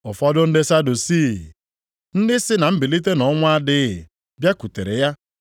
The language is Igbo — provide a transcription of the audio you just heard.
Ụfọdụ ndị Sadusii, ndị sị na mbilite nʼọnwụ adịghị, bịakwutere ya